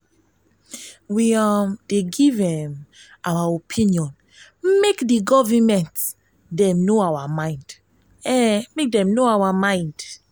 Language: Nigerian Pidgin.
we um dey give um our opinion make di givernment dem know our mind. know our mind.